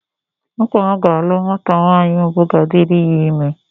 Nwakama ga-alụ nwata nwaanyị mbụ ga-adịrị ya ịme.